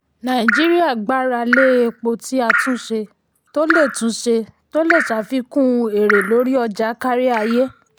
nàìjíríà gbára lé epo tí a túnṣe tó lè túnṣe tó lè ṣàfikún èrè lórí ọjà káríayé.